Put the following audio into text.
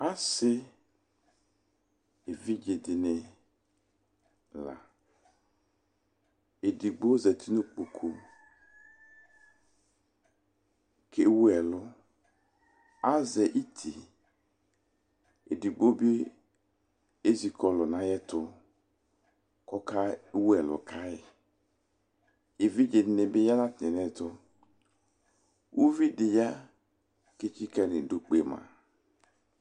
asi evidze di ni la edigbo zati no ikpoku li ko ɛwu ɛlu azɛ iti edigbo bi ezi kɔlu no ayɛto ko oke wu ɛlu kae uvi di bi ya ko etsika no idu kpema